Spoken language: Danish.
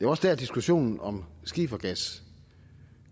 også der diskussionen om skifergas